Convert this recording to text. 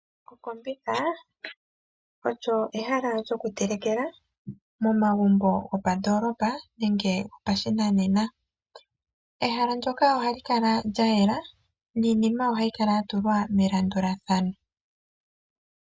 Okombitha olyo ehala lyokutelekela momagumbo gopandoolopa nenge gopashinanena. Ehala ndoka ohali kala lyayela niinima ohayi kala yatulwa melandulathano.